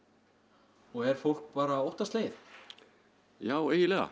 og er fólk bara óttaslegið já eiginlega